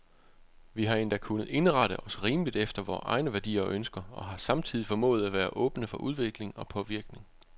Vi har endda kunnet indrette os rimeligt efter vore egne værdier og ønsker, og har samtidig formået at være åbne for udvikling og påvirkning.